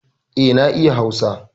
E, na iya Hausa.